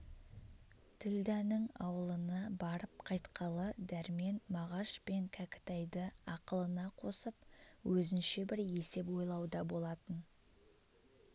ділдәнің ауылына барып қайтқалы дәрмен мағаш пен кәкітайды ақылына қосып өзінше бір есеп ойлауда болатын